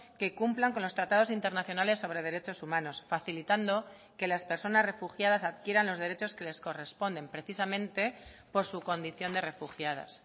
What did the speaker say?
que cumplan con los tratados internacionales sobre derechos humanos facilitando que las personas refugiadas adquieran los derechos que les corresponden precisamente por su condición de refugiadas